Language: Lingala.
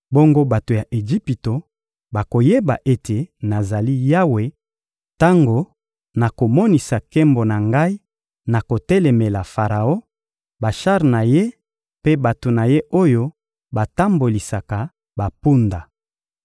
Bongo bato ya Ejipito bakoyeba ete nazali Yawe tango nakomonisa nkembo na Ngai na kotelemela Faraon, bashar na ye mpe bato na ye oyo batambolisaka bampunda.